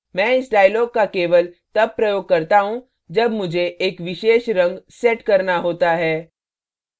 मैं इस dialog का केवल तब प्रयोग करता हूँ जब मुझे एक विशेष रंग set करना होता है